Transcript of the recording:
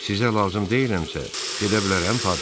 Sizə lazım deyiləmsə, gedə bilərəm, Patri?